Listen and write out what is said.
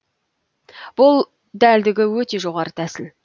бұл дәлдігі өте жоғарғы тәсіл